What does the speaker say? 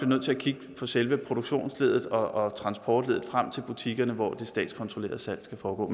nødt til at kigge på selve produktionsleddet og transportleddet frem til butikkerne hvor det statskontrollerede salg skal foregå